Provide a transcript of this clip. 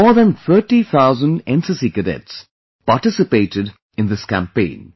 More than 30 thousand NCC cadets participated in this campaign